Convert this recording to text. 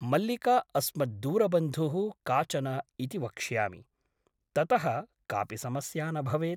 मल्लिका अस्मद्दूरबन्धुः काचन इति वक्ष्यामि । ततः कापि समस्या न भवेत् ।